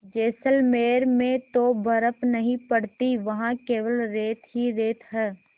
जैसलमेर में तो बर्फ़ नहीं पड़ती वहाँ केवल रेत ही रेत है